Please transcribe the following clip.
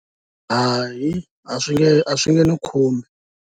Hayi a swi nge a swi nge ni khumbi.